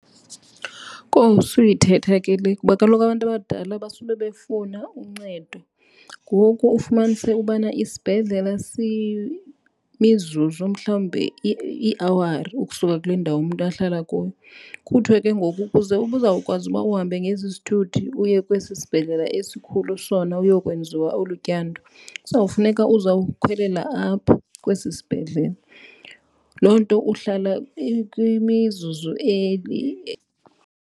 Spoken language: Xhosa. Kowu suyithetha ke le kuba kaloku abantu abadala basube befuna uncedo. Ngoku ufumanise ubana isibhedlele mizuzu mhlawumbi iiawari ukusuka kule ndawo umntu ahlala kuyo. Kuthwe ke ngoku ukuze ubuzawukwazi uba uhambe ngesi sithuthi uye kwesi sibhedlele esikhulu sona uyokwenziwa olu tyando kuzawufuneka uzawukhwela apha kwesi sibhedlele. Loo nto uhlala kwimizuzu .